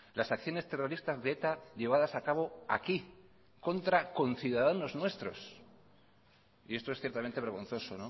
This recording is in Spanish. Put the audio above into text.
las acciones terroristas de eta llevadas a cabo aquí contra conciudadanos nuestros y esto es ciertamente vergonzoso